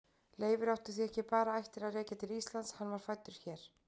Leifur átti því ekki bara ættir að rekja til Íslands, hann var fæddur hér.